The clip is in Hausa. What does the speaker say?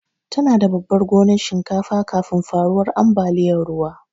Tana da babar gonar shinkafa kafin faruwar ambaliyar ruwa.